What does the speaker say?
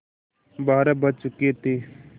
बारह बज चुके थे